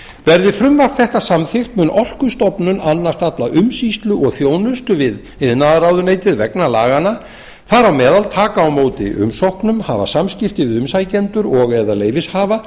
verði frumvarp þetta samþykkt mun orkustofnun annast alla umsýslu og þjónustu við iðnaðarráðuneytið vegna laganna þar á meðal taka á móti umsóknum hafa samskipti